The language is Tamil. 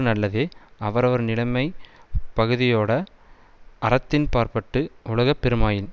நல்லதே அவரவர்நிலைமைப் பகுதியோடே அறத்தின்பாற்பட்டு ஒழுகப் பெறுமாயின்